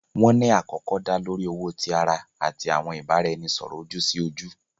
Wọn ni akọkọ da lori owo ti ara ati awọn ibaraẹnisọrọ oju-si-oju.